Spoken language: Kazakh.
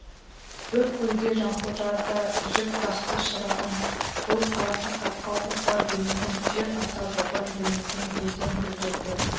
бір көлге жанқожа да жіп тақты шырағым бұл қарақалпаққа опа бермеген жер ата-бабаң бүлінген елден бүлдіргі